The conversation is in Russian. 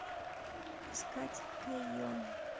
искать кэйон